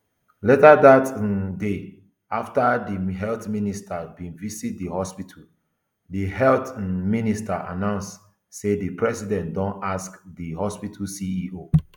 later dat um day afta di health minister bin visit di hospital di health um minister announce say di president don sack di hospital ceo